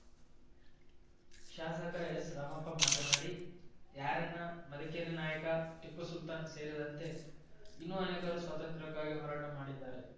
ಶಾಸಕ ಎಸ್‌ರಾಮಪ್ಪ ಮಾತನಾಡಿ ಯಾರಣ್ಣ ಮದಕರಿ ನಾಯಕ ಟಿಪ್ಪುಸುಲ್ತಾನ್‌ ಸೇರಿದಂತೆ ಇನ್ನೂ ಅನೇಕರು ಸ್ವಾತಂತ್ರಕ್ಕಾಗಿ ಹೋರಾಟ ಮಾಡಿದ್ದಾರೆ